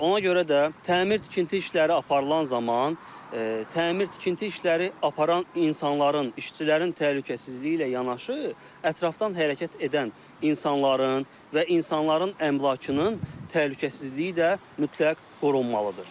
Ona görə də təmir tikinti işləri aparılan zaman təmir tikinti işləri aparan insanların, işçilərin təhlükəsizliyi ilə yanaşı ətrafdan hərəkət edən insanların və insanların əmlakının təhlükəsizliyi də mütləq qorunmalıdır.